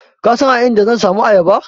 Ka san a inda zan samu ayaba?